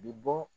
Bi bɔ